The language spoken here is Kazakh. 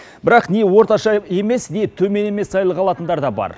бірақ не орташа емес не төмен емес айлық алатындар да бар